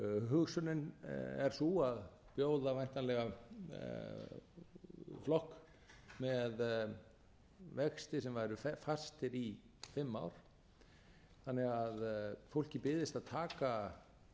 hugsunin er sú að bjóða væntanlega flokk með vexti sem væru fastir í fimm ár þannig að fólki byðist að taka